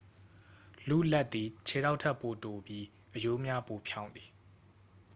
လူ့လက်သည် ခြေထောက်ထက်ပိုတိုပြီး အရိုးများပိုဖြောင့်သည်